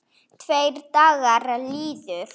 Tveir dagar liðu.